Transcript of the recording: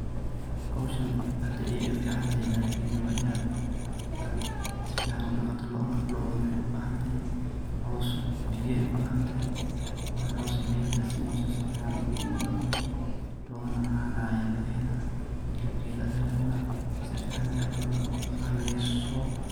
Howshan aad ay ufican tahay lakin wainad safican udaqatit loda',loda' waxay ubahantahay caws, biyo ubahantahay mar caws iyo biyo hadas sini weysid safican umadaqmeyso lod'ana cana laga hela helab kedha a lacuna safican aya laraba inad udaqaleyso.